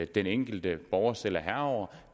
den enkelte borger selv er herre over